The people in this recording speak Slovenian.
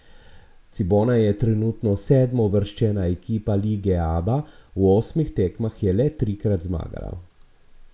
Cibona je trenutno sedmouvrščena ekipe Lige Aba, v osmih tekmah je le trikrat zmagala.